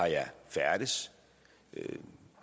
færdedes det